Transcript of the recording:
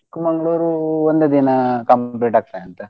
Chikmagalur ಒಂದೇ ದಿನಾ ಕಂ~ ಬಿಡತ್ತೇ ಅಂತ.